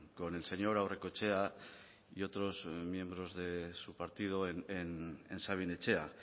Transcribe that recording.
con el señor aurrekoetxea y otros miembros de su partido en sabin etxea